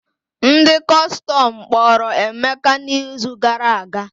Ndị Kọstọm kpọrọ Emeka n'izu gara aga.